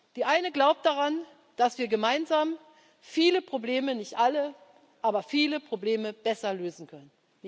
Die eine glaubt daran, dass wir gemeinsam viele Probleme nicht alle, aber viele Probleme besser lösen können.